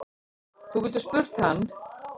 Þú getur spurt hann.